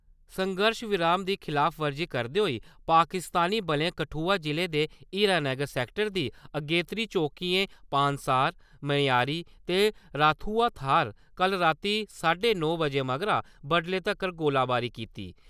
संघर्श विराम दी खलाफवर्जी करदे होई पाकिस्तानी बलें कठुआ जि'ले दे हीरानगर सेक्टर दी अगेत्री चौकिएं पानसार, मनेयारी ते राथुआ थाह्‌रें कल रातीं साड्डे नौ बजे मगरा बड्डलै तक्कर गोलीबारी कीती।